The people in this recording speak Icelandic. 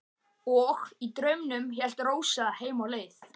Og í draumnum hélt Rósa heim á leið.